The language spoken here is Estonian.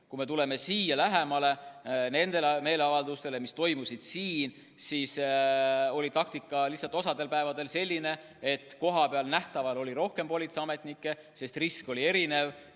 Kui me tuleme nende meeleavalduste juurde, mis toimusid siin, siis oli taktika osal päevadel selline, et kohapeal nähtaval oli rohkem politseiametnikke, sest risk oli erinev.